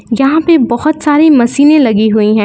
यहां पे बहुत सारी मशीने लगी हुई हैं।